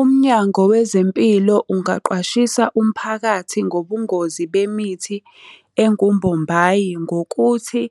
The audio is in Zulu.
Umnyango wezempilo ungaqwashisa umphakathi ngobungozi bemithi engumbombayi ngokuthi,